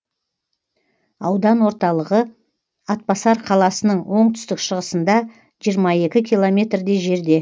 аудан орталығы атбасар қаласының оңтүстік шығысында жиырма екі километрдей жерде